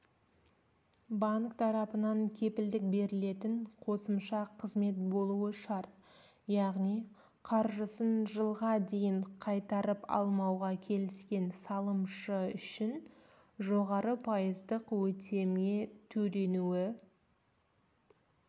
банк тарапынан кепілдік берілетін қосымша қызмет болуы шарт яғни қаржысын жылға дейін қайтарып алмауға келіскен салымшы үшін жоғары пайыздық үстеме төленуі